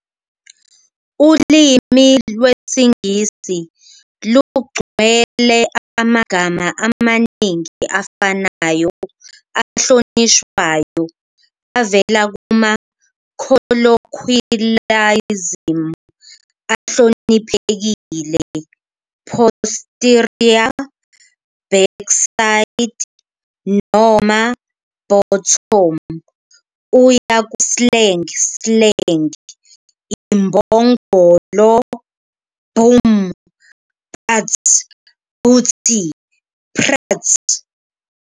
Ulimi lwesiNgisi lugcwele amagama amaningi afanayo ahlonishwayo avela kuma-colloquialism ahloniphekile, "posterior", "backside" noma "bottom", kuya ku-slang slang, "imbongolo,"," "bum," "butt," "booty, " prat ".